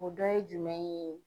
O dɔ ye jumɛn ye?